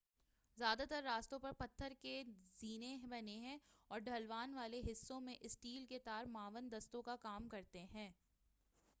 زیادہ تر راستوں پر پتھر کے زینے بنے ہیں اور ڈھلوان والے حصوں میں اسٹیل کے تار معاون دستوں کا کام کرتے ہیں